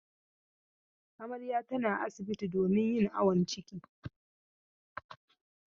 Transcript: Amarya tana asibti domin yin awon ciki.